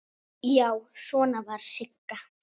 Já, svona var Sigga!